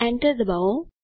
Enter ડબાઓ